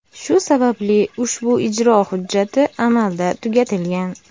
Shu sababli ushbu ijro hujjati amalda tugatilgan.